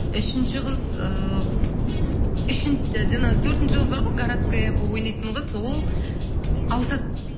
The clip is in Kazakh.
үшінші қыз ыыы жаңа төртінші қыз бар ғой городская болып ойнайтын қыз ол ауысады